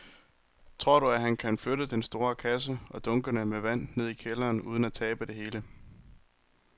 Tror du, at han kan flytte den store kasse og dunkene med vand ned i kælderen uden at tabe det hele?